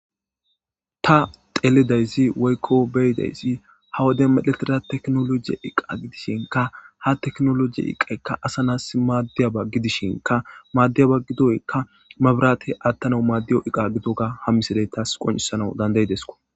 Ta telidayzi waykko beydayszi ha wade miletira teknologiye iqa gidishinka ha teknolojiye iqaykka asa nas maaddiyaba gidishinka maaddiyaba gidoykka mabiraate aattana maaddiyo iqa gitoka hammiseley taas qoncisana dandayidesko.